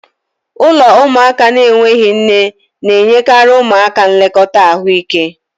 Ụlọ ụmụaka na-enweghị nne na-enyekarị ụmụaka nlekọta ahụike